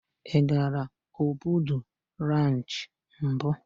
Ị gaala Obudu ranchị mbụ?